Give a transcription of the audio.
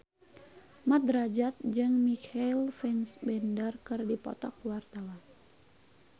Mat Drajat jeung Michael Fassbender keur dipoto ku wartawan